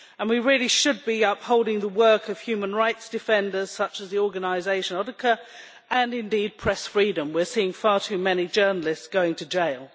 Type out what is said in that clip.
We really should be upholding the work of human rights defenders, such as the organisation Odhikar', and indeed press freedom. We are seeing far too many journalists going to jail.